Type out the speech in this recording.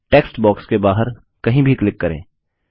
text box के बाहर कहीं भी क्लिक करें